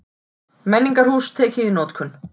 Menningarhús tekið í notkun